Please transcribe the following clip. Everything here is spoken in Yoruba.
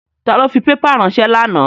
Ta ló fi pépà ránsẹ́ lánàá?